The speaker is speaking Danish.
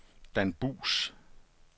Dan Buus